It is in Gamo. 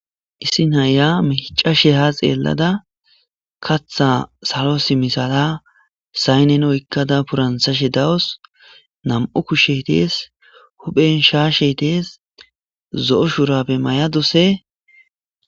Issi naya micashe ha xelada kata asa sinthara ha simada oyiqqada dawusu nam'u kushe des.hupen shashe dees.zo'o shurabe maya dawusu.